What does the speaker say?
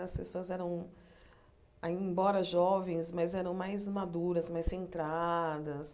As pessoas eram, ain embora jovens, mas eram mais maduras, mais centradas.